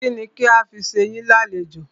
Kínni kí a fi ṣe yín ní àlejò?